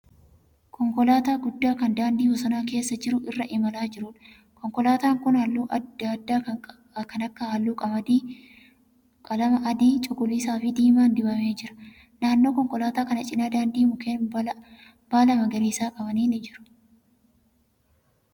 Konkolaataa guddaa kan daandii bosona keessa jiru irra imalaa jiruudha. Konkolaataan kun halluu adda adddaa kan akka halluu qalama adii, cuquliisaafi diimaan dibamee jira. Naannoo konkolaataa kanaa cina daandii mukeen baala magariisa qaban ni jiru.